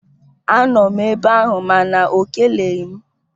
Anọ m ebe ahụ mana ọ keleghị m